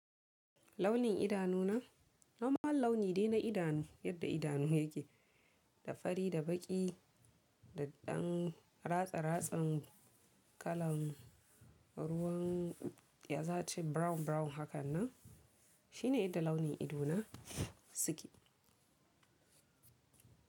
Launin idanu na, na ma launi dai na idanu yadda idanu yake, da fari da baƙi da ɗan ratsa ratsan kalan, ruwan, ya za ci brown brown hakan nan. Shi ne yadda launin idona, suke.